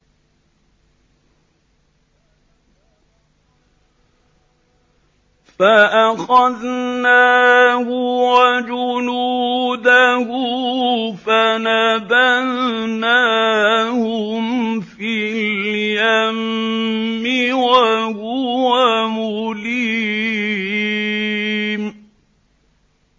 فَأَخَذْنَاهُ وَجُنُودَهُ فَنَبَذْنَاهُمْ فِي الْيَمِّ وَهُوَ مُلِيمٌ